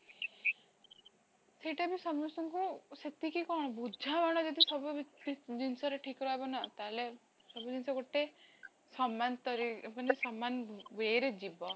ସେଟାବି ସମସ୍ତଙ୍କୁ ସେତିକି କଣ ବୁଝା ପଡନ୍ତା ଯଦି ସବୁ ଜିନିଷରେ ଠିକ ରହିବ ନା ତାହେଲେ, ସବୁ ଜିନିଷ ଗୋଟେ ସମାନତାରେ ମାନେ ସମାନ way ରେ ଯିବ